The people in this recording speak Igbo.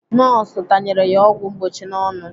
Nọọsụ tanyere ya ọgwụ mgbochi n'ọnụ.